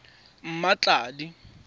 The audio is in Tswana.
mmatladi